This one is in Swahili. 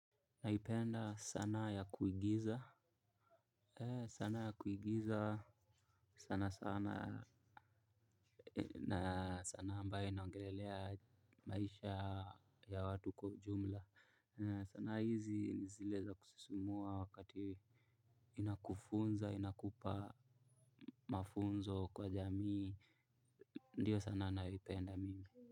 Naipenda sana ya kuigiza. Sana ya kuigiza sana sana na sanaa ambayo inaongelelea maisha ya watu kwa ujumla. Sanaa hizi ni zile za kusisimua wakati inakufunza inakupa mafunzo kwa jamii. Ndio sanaa nayoipenda.